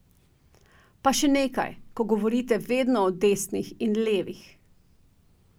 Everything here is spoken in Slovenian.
Pa še nekaj, ko govorite vedno o desnih in levih.